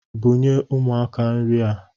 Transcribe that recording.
Bunye umuaka nri ha